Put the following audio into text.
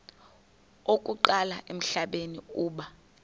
okokuqala emhlabeni uba